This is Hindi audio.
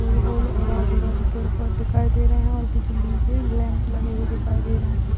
गोल गोल और आजू-बाजू पेड़ पौधे दिखाई दे रहे हैं और बिजली के लैंप लगे हुए दिखाई दे रहे हैं।